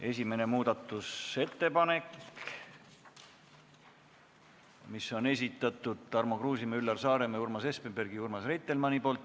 Esimene muudatusettepanek, mille on esitanud Tarmo Kruusimäe, Üllar Saaremäe, Urmas Espenberg, Urmas Reitelmann.